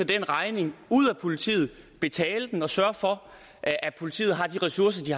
den regning ud af politiet betale den og sørge for at at politiet har de ressourcer de